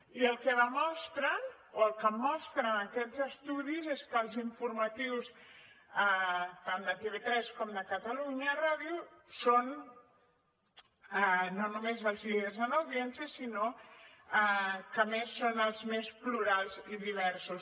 i el que demostren o el que mostren aquests estudis és que els informatius tant de tv3 com de catalunya ràdio són no només els líders en audiència sinó que a més són els més plurals i diversos